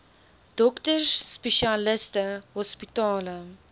dokters spesialiste hospitale